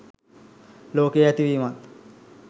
ලෝකයේ ඇති වීමත්